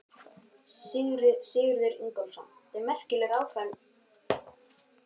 Sigurður Ingólfsson: Þetta er merkilegur áfangi fyrir ykkur hérna?